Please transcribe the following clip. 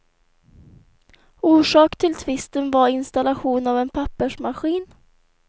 Orsak till tvisten var installation av en pappersmaskin.